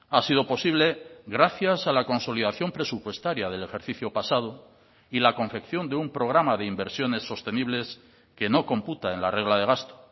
ha sido posible gracias a la consolidación presupuestaria del ejercicio pasado y la confección de un programa de inversiones sostenibles que no computa en la regla de gasto